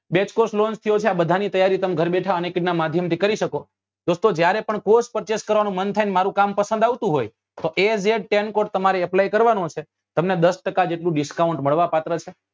Base course launch થયો છે આ બધા ની તૈયારી તમે ઘર બેઠા unacademy નાં માધ્યમ થી તમે કરી શકો દોસ્તો જ્યારે પણ course purchase કરવા નું મન થાય ને મારું કામ તમને પસંદ આવતું હોય તો એ જે az ten cod તમારે apply કરવા નું છે તમને દસ ટકા જેટલું discount મળવા પાત્ર છે